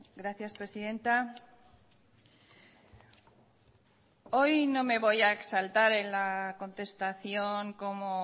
gracias presidenta hoy no me voy a exaltar en la contestación como